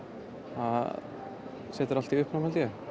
það setur allt í uppnám